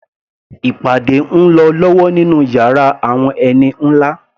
Ìpàdé ń lọ lọ́wọ́ nínú yàrá àwọn ẹni nlá